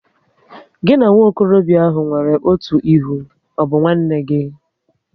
Gị na nwokorobia ahụ nwere otu ihe, ọ bụ nwanne gị?